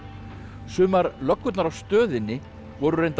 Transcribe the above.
sumar löggurnar á stöðinni voru reyndar